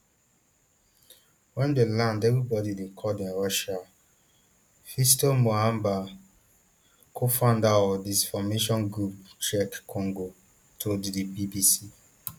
wen dem land everybody dey call dem russian fiston mahamba cofounder of disinformation group check congo told the bbc